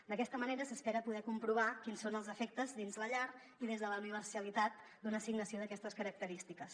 d’aquesta manera s’espera poder comprovar quins són els efectes dins la llar i des de la universalitat d’una assignació d’aquestes característiques